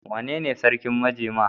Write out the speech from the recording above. Wanene sarkin majema?